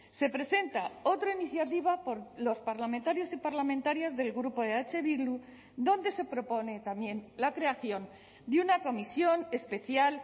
se presenta otra iniciativa por los parlamentarios y parlamentarias del grupo eh bildu donde se propone también la creación de una comisión especial